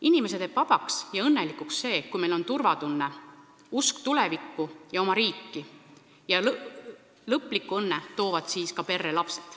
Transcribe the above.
Inimese teeb vabaks ja õnnelikuks see, kui tal on turvatunne, usk tulevikku ja oma riiki, ja lõpliku õnne toovad perre lapsed.